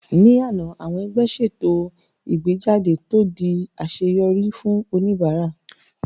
Ní àná, àwọn ẹgbẹ́ ṣètò ìgbéjáde tó di àṣeyọrí fún oníbàárà